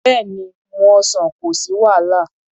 Bẹ́ẹ̀ni, mú ọsàn, kò sí wàhálà.